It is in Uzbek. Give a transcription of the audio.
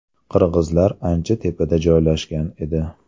Qirg‘izlar ancha tepada joylashgan edi.